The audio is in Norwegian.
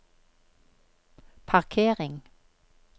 parkering